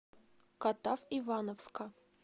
катав ивановска